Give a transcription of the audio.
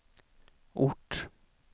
ort